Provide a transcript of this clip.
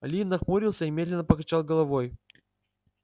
ли нахмурился и медленно покачал головой